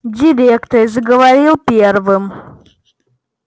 директор заговорил первым